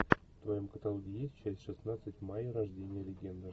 в твоем каталоге есть часть шестнадцать майя рождение легенды